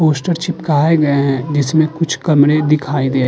poster चिपकाए गए हैं जिसमें कुछ कमरे दिखाई दे --